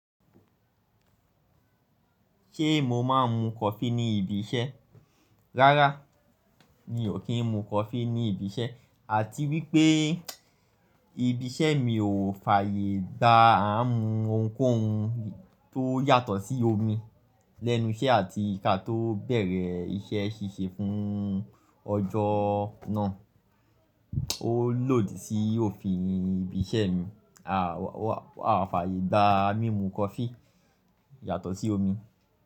Ṣé mo máa ń mu coffee ní ibi iṣẹ́? Rárá, mi ò kí ń mu coffee ní ibi iṣẹ́ àti wí pé ibi iṣẹ́ mi ò fàyè gba à ń mu ohunkóhun tó yàtọ̀ sí omi lẹ́nu iṣẹ́ àti ká tó bẹ̀rẹ̀ iṣẹ́ ṣíṣe fún ọjọ́ náà. Ó lòdì sí òfin ibi iṣẹ́ mi. A ò fàyè gba mímu coffee yàtọ̀ sí omi.